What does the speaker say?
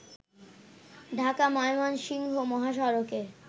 ঢাকা-ময়মনসিংহ মহাসড়কে